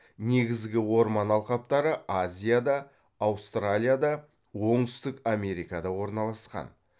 негізгі орман алқаптары азияда аустралияда оңтүстік америкада орналасқан